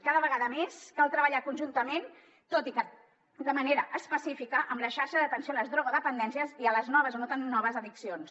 cada vegada més cal treballar conjuntament tot i que de manera específica amb la xarxa d’atenció a les drogodependències i a les noves o no tan noves addiccions